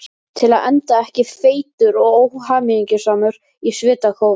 Til að enda ekki feitur og óhamingjusamur í svitakófi.